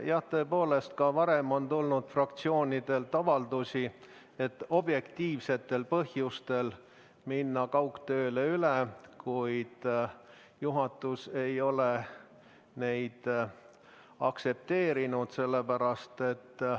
Jah, tõepoolest, ka varem on tulnud fraktsioonidelt avaldusi minna objektiivsetel põhjustel üle kaugtööle, kuid juhatus ei ole neid aktsepteerinud.